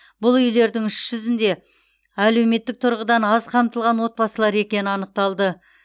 бұл үйлердің үш жүзінде әлеуметтік тұрғыдан аз қамтылған отбасылар екені анықталды